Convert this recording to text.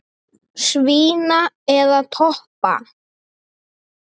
Svína eða toppa?